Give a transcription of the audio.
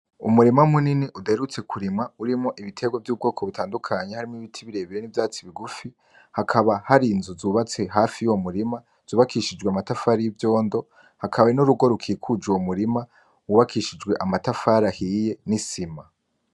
Umurima munini udaherutse kurimwa urimwo ibiterwa vy’ubwoko butandukanye harimwo ibiti birebire n’ivyatsi bigufi hakaba hari inzu zubatse hafi yuwo murima zubakishijwe amatafari y’ivyondo hakaba n’urugo rukikuje uwo murima wubakishijwe amatafari ahiye n’isima.